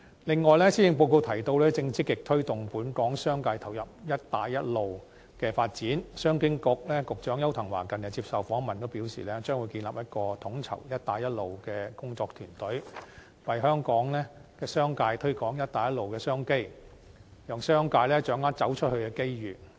此外，施政報告提到，正積極推動本港商界投入"一帶一路"的發展，商務及經濟發展局局長邱騰華近日接受訪問時表示，將會建立一個統籌"一帶一路"的工作團隊，為香港商界推廣"一帶一路"商機，讓商界掌握"走出去"的機遇。